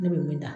Ne bɛ min da